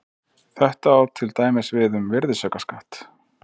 Þetta á til dæmis við um virðisaukaskatt.